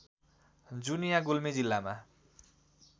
जुनिया गुल्मी जिल्लामा